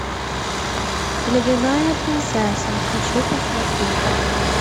ледяная принцесса хочу посмотреть